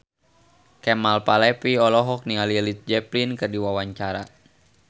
Kemal Palevi olohok ningali Led Zeppelin keur diwawancara